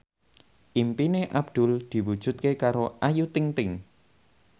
impine Abdul diwujudke karo Ayu Ting ting